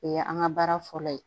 O ye an ka baara fɔlɔ ye